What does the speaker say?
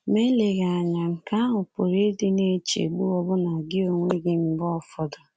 Ma eleghị anya, nke ahụ pụrụ ịdị na-echegbu ọbụna gị onwe gị mgbe ụfọdụ.